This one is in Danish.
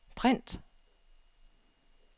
print